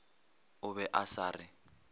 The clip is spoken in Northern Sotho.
o be a sa re